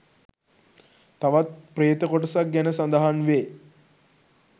තවත් ප්‍රේත කොටසක් ගැන සඳහන් වේ.